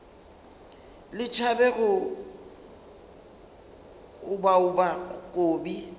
le tšhabe go obaoba kobi